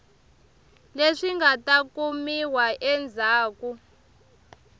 leswi nga ta kumiwa endzhaku